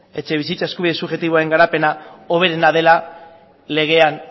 etxebizitza eskubide subjektiboaren garapena hoberena dela legean